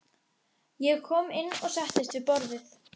Ég kom inn og settist við borðið.